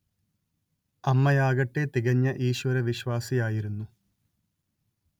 അമ്മയാകട്ടെ തികഞ്ഞ ഈശ്വരവിശ്വാസിയായിരുന്നു